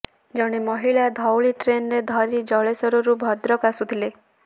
ଜଣେ ମହିଳା ଧଉଳି ଟ୍ରେନରେ ଧରି ଜଳେଶ୍ୱରରୁ ଭଦ୍ରକ ଆସୁଥିଲେ